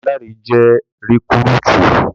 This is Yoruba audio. Dámiláre jẹ́ rikúrútú